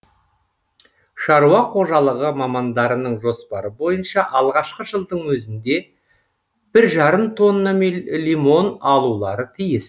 шаруа қожалығы мамандарының жоспары бойынша алғашқы жылдың өзінде бір жарым тонна лимон алулары тиіс